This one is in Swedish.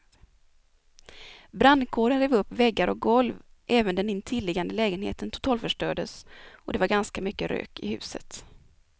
Brandkåren rev upp väggar och golv, även den intilliggande lägenheten totalförstördes och det var ganska mycket rök i huset.